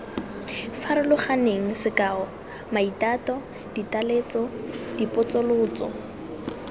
farologaneng sekao maitato ditaletso dipotsolotso